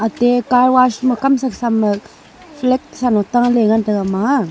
te ecar wash ma kamsa samma flag salo taley ngan taiga ema a.